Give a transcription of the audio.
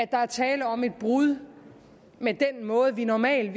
der er tale om et brud med den måde vi normalt